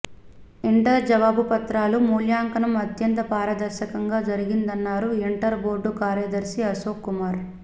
inter జవాబు పత్రాల మూల్యాంకనం అత్యంత పారదర్శకంగా జరిగిందన్నారు ఇంటర్ బోర్డ్ కార్యదర్శి అశోక్ కుమార్